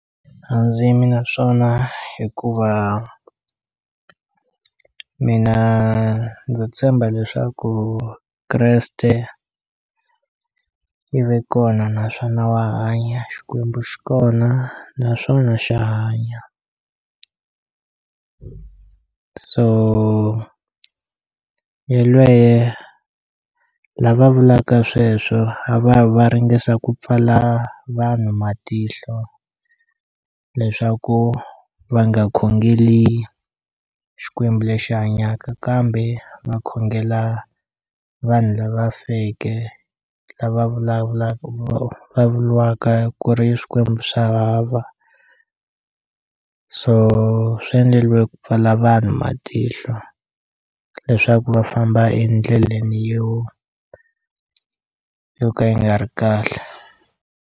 A ndzi yimi na swona hikuva mina ndzi tshemba leswaku Kreste i ve kona naswona wa hanya Xikwembu xi kona naswona xa hanya so yelweye lava vulaka sweswo a va yi va ya ringesa ku pfala vanhu matihlo leswaku va nga khongeli Xikwembu lexi hanyaka kambe va khongela vanhu lava feke lava vulavulaka va vuriwaka ku ri i swikwembu swa hava so swi endleliwe ku pfala vanhu matihlo leswaku va famba endleleni yo yo ka yi nga ri kahle.